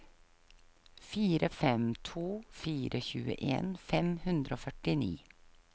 fire fem to fire tjueen fem hundre og førtini